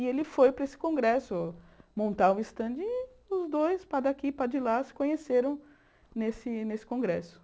E ele foi para esse congresso montar um stand e os dois, para daqui e para de lá, se conheceram nesse nesse congresso.